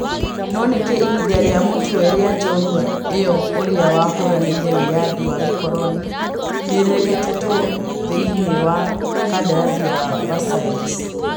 No nĩkĩ ihĩndĩ rĩa mũtwe rĩa njorua ĩyo ũrĩa wahũranĩire wĩyathi wa gĩkoronĩ nĩrĩgwetetwo thĩĩ nĩ wa kandarathi ya Versailles